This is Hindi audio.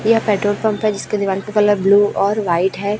यह पेट्रोल पंप हैं जिसके दीवार का कलर ब्लू और व्हाईट हैं।